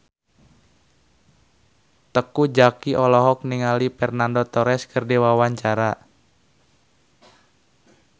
Teuku Zacky olohok ningali Fernando Torres keur diwawancara